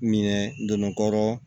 Minɛ donna kɔrɔ